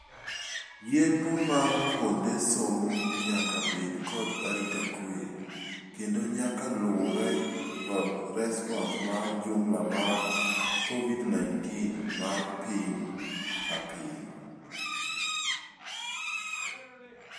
Yiepo mar kuonde somo nyaka bed kod arita kwee kondo nyaka luure kod response ma jumla mar COVID-19 mar piny kapiny.